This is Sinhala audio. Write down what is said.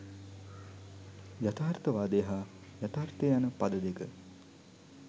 යථාර්ථවාදය හා යථාර්ථය යන පද දෙක